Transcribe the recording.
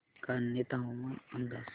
कान्हे हवामान अंदाज